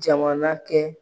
Jamana kɛ.